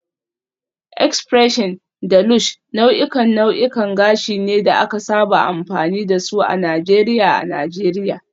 X-pression da Lush nau'ikan nau'ikan gashi ne da aka saba amfani da su a Najeriya a Najeriya